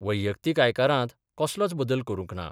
वैयक्तीत आयकरांत कसलोच बदल करूंक ना.